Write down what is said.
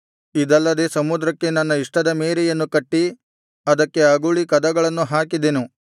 ಇದಲ್ಲದೆ ಸಮುದ್ರಕ್ಕೆ ನನ್ನ ಇಷ್ಟದ ಮೇರೆಯನ್ನು ಕಟ್ಟಿ ಅದಕ್ಕೆ ಅಗುಳಿ ಕದಗಳನ್ನು ಹಾಕಿದೆನು